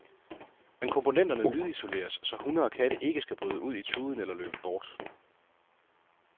Men komponenterne lydisoleres, så hunde og katte ikke skal bryde ud i tuden eller løbe bort.